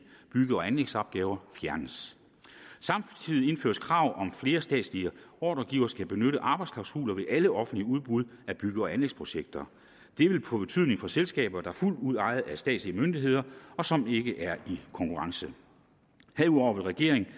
bygge og anlægsopgaver fjernes samtidig indføres krav om at flere statslige ordregivere skal benytte arbejdsklausuler ved alle offentlige udbud af bygge og anlægsprojekter det vil få betydning for selskaber der fuldt ud er ejet af statslige myndigheder og som ikke er i konkurrence herudover vil regeringen